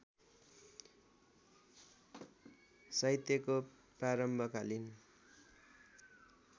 साहित्यको प्रारम्भकालीन